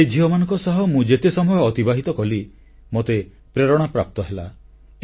ସେହି ଝିଅମାନଙ୍କ ସହ ମୁଁ ଯେତେ ସମୟ ଅତିବାହିତ କଲି ମୋତେ ପ୍ରେରଣା ପ୍ରାପ୍ତ ହେଲା